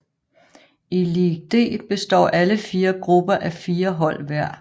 I League D består alle fire grupper af fire hold hver